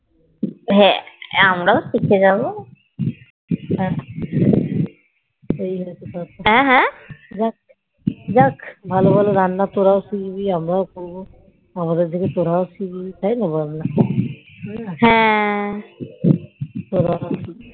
ভালো ভালো রান্না তোরাও শিখবি আমরাও খাবো আমাদের দেখে তোরোও শিখবি তাইনা বলনা